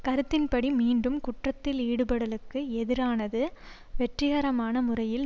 கருத்தின்படி மீண்டும் குற்றத்தில் ஈடுபடலுக்கு எதிரானது வெற்றிகரமான முறையில்